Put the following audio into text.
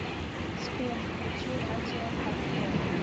сбер включи радио хардкор